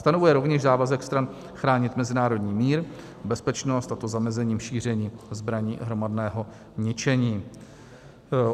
Stanovuje rovněž závazek stran chránit mezinárodní mír, bezpečnost, a to zamezením šíření zbraní hromadného ničení.